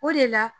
O de la